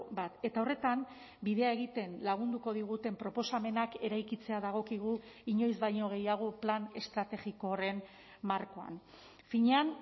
bat eta horretan bidea egiten lagunduko diguten proposamenak eraikitzea dagokigu inoiz baino gehiago plan estrategiko horren markoan finean